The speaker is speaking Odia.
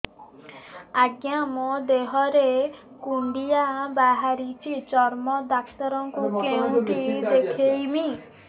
ଆଜ୍ଞା ମୋ ଦେହ ରେ କୁଣ୍ଡିଆ ବାହାରିଛି ଚର୍ମ ଡାକ୍ତର ଙ୍କୁ କେଉଁଠି ଦେଖେଇମି